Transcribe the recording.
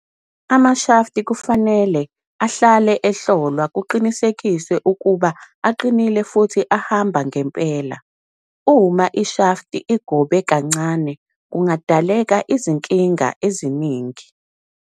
Amashafti kufanele ahlale ehlolwa kuqinisekiswe ukuba aqinile futhi ahamba ngempela. Uma ishafti igobe kancane kungadaleka izinkinga eziningi.